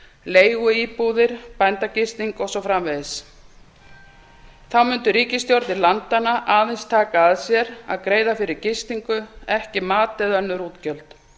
leiguíbúðir bændagisting og svo framvegis þá mundu ríkisstjórnir landanna aðeins taka að sér að greiða fyrir gistingu ekki mat eða önnur útgjöld